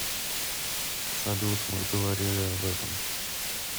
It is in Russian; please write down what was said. салют мы говорили об этом